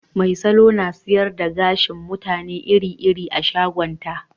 Mai salo na sayar da gashin mutane iri-iri a shagonta